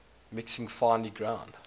mixing finely ground